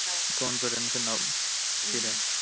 confidence ഉണ്ടാവും ശരിയാണ്